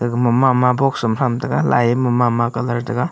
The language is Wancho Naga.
aga ma ma ma box am tham tega lai e ma ma colour tega.